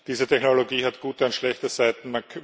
Diese Technologie hat gute und schlechte Seiten